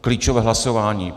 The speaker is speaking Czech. Klíčové hlasování.